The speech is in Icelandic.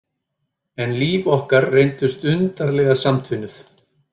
En líf okkar reyndust undarlega samtvinnuð.